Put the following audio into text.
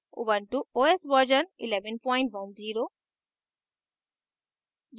ubuntu os version 1110